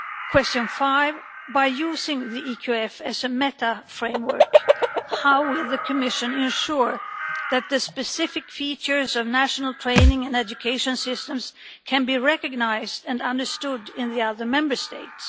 Question 5 by using the EQF as a meta-framework, how will the Commission ensure that the specific features of national training and education systems can be recognised and understood in the other Member States?